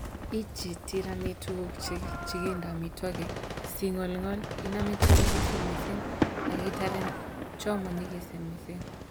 Ichit tiramit tuguk che kindo amitwogik si kingolngol, inamen che nyikisen missing ak itaren chemo nyigisen missing.